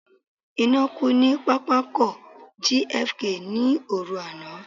Iná kú ní pápákọ̀ JFK ní òru àná.